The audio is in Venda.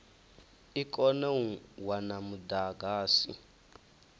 i kone u wana mudagasi